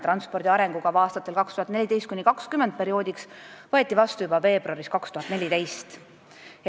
Transpordi arengukava aastateks 2014–2020 võeti vastu juba veebruaris 2014.